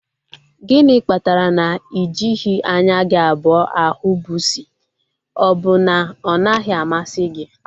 Gịnị kpatara na ị jighị anya gị abụọ ahụ pusi? Ọ bụ na ọ naghị amasị gị?